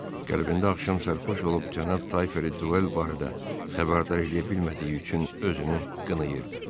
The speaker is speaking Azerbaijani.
Qəlbində axşam sərxoş olub cənab Tayferi duel barədə xəbərdar eləyə bilmədiyi üçün özünü qınayırdı.